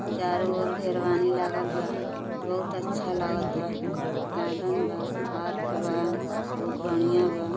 चारो ओर घेरवानी लागल बा। बहोत अच्छा लागता। गार्डन बा। पार्क बा। बहोत बढ़ियां बा।